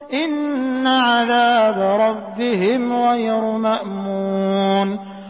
إِنَّ عَذَابَ رَبِّهِمْ غَيْرُ مَأْمُونٍ